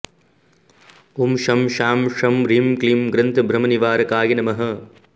ॐ शं शां षं ह्रीं क्लीं ग्रन्थभ्रमनिवारकाय नमः